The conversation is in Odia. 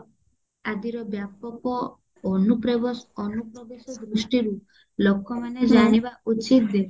ଆଜିର ବ୍ୟାପକ ଅନୁପ୍ରେବସ ଅନୁପ୍ରବସ ଦୃଷ୍ଟିରୁ ଲୋକମାନେ ଜାଣିବା ଉଚିତ ଯେ